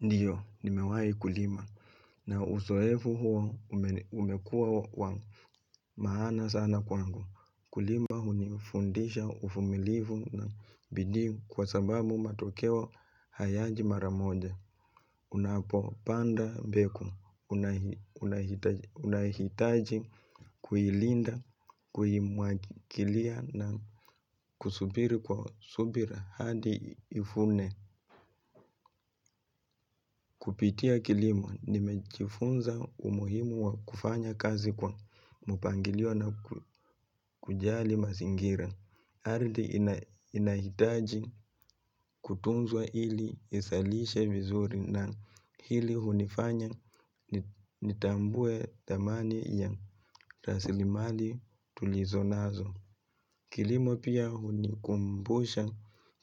Ndiyo, nimewai kulima na usoefu huo umekuwa maana sana kwangu. Kulima hunifundisha ufumilifu na bidii kwa sababu matokeo hayaji maramoja. Unapo panda, mbegu, unahitaji, kuhilinda, kuhimwagilia na kusubiri kwa subira hadi ifune. Kupitia kilimo nimejifunza umuhimu wa kufanya kazi kwa mpangilio na kujali masingira. Ardhi inahitaji kutunzwa hili isalishe vizuri na hili hunifanya nitambue damani ya rasilimali tulizonazo. Kilimo pia hunikumbusha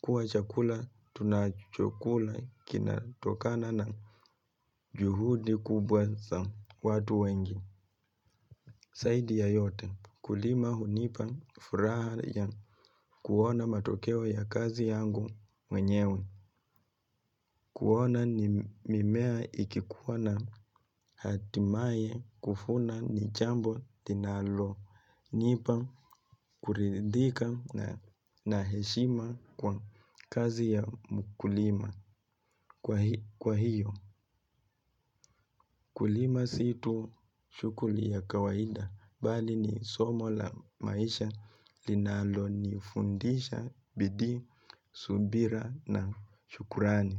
kuwa chakula tunachokula kinatokana na juhudi kubwa za watu wengi. Saidi ya yote kulima hunipa furaha ya kuona matokewa ya kazi yangu mwenyewe. Kuona ni mimea ikikuwa na hatimaye kufuna ni jambo linalo. Nipa kuridhika na heshima kwa kazi ya mkulima kwa hiyo. Kulima si tu shughuli ya kawaida bali ni somo la maisha linalo nifundisha bidii, subira na shukurani.